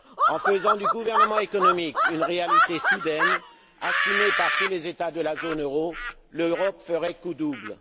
En faisant du gouvernement économique une réalité soudaine, assumée par tous les États de la zone euro, l'Europe ferait coup double.